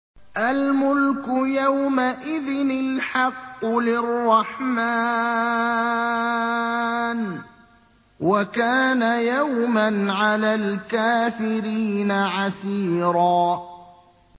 الْمُلْكُ يَوْمَئِذٍ الْحَقُّ لِلرَّحْمَٰنِ ۚ وَكَانَ يَوْمًا عَلَى الْكَافِرِينَ عَسِيرًا